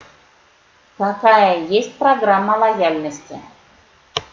какая есть программа лояльности